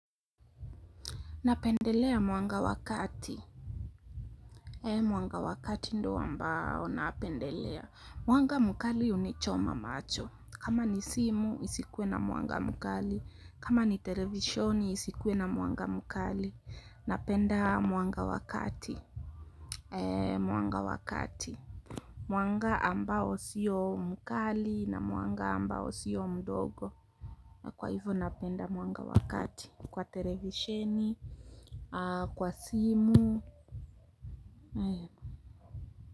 Napendelea mwanga wa kati, mwanga wa kati ndo ambao napendelea mwanga mkali hunichoma macho, kama ni simu isikuwe na mwanga mkali kama ni televishoni isikuwe na mwanga mkali napenda mwanga wa kati, mwanga wa kati mwanga ambao sio mkali na mwanga ambao sio mdogo kwa hivyo napenda mwanga wa kati kwa televisheni kwa simu ayo.